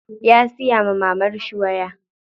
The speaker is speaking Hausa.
Ya siya wa mamarshi waya.